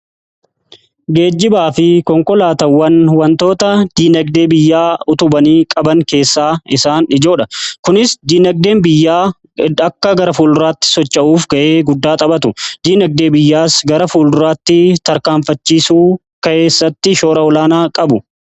Geejibaa fi konkolaatawwan wantoota diinagdee biyyaa utubanii qaban keessaa isaan ijoodha. Kunis diinagdeen biyyaa akka gara fuulduraatti socha'uuf ga'ee guddaa xaphatu diinagdee biyyaas gara fuulduraatti tarkaanfachisuu keessatti shoora olaanaa qabu.